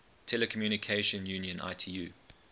telecommunication union itu